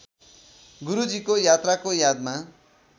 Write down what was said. गुरूजीको यात्राको यादमा